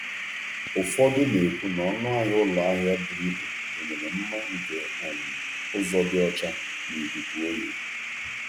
Ụfọdụ na-ekwu na ọnụ ahịa ụlọ ahịa buru ibu gụnyere mma nke um ụzọ dị ọcha na ikuku oyi.